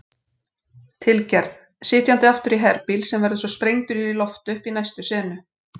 tilgerð, sitjandi aftur í herbíl sem verður svo sprengdur upp í loft í næstu senu.